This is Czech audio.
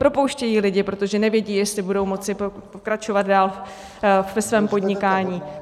Propouštějí lidi, protože nevědí, jestli budou moci pokračovat dál ve svém podnikání.